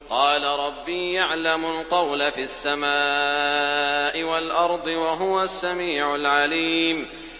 قَالَ رَبِّي يَعْلَمُ الْقَوْلَ فِي السَّمَاءِ وَالْأَرْضِ ۖ وَهُوَ السَّمِيعُ الْعَلِيمُ